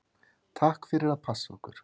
Takk fyrir að passa okkur.